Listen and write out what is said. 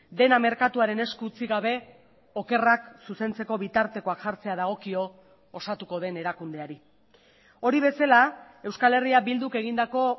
dena merkatuaren esku utzi gabe okerrak zuzentzeko bitartekoak jartzea dagokio osatuko den erakundeari hori bezala euskal herria bilduk egindako